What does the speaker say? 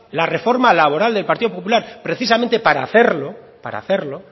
la reforma laboral del partido popular precisamente para hacerlo